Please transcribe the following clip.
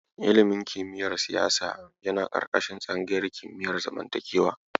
Ilimin kimiyyar siyasa yana ƙarƙashin tsangayar kimiyar zamantakewa.